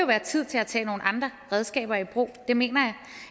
være tid til at tage nogle andre redskaber i brug det mener